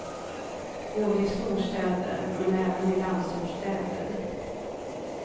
Både i storstäder, men även i landsortsstäder.